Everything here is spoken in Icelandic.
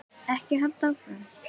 Ekki halda áfram.